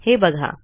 हे बघा